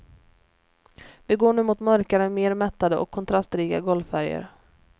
Vi går nu mot mörkare mer mättade och kontrastrika golvfärger.